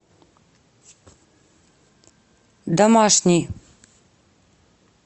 домашний